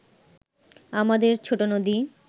আমাদের ছোট নদী